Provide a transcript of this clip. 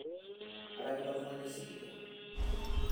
etakedo oltungani osikiria